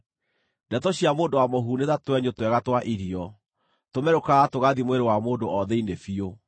Ndeto cia mũndũ wa mũhuhu nĩ ta twenyũ twega twa irio; tũmerũkaga tũgathiĩ mwĩrĩ wa mũndũ o thĩinĩ biũ.